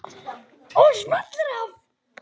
Og smellir af.